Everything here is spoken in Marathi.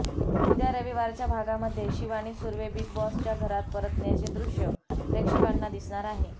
उद्या रविवारच्या भागामध्ये शिवानी सुर्वे बिग बॉसच्या घरात परतण्याचे दृश्य प्रेक्षकांना दिसणार आहे